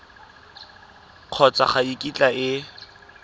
kgotsa ga e kitla e